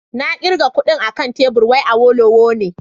Na kirga kudin akan tebur wai Awolowo ne